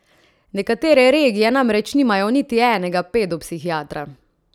Nekatere regije namreč nimajo niti enega pedopsihiatra.